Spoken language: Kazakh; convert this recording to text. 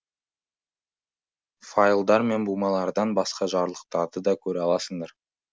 файлдар мен бумалардан басқа жарлықтарды да көре аласыңдар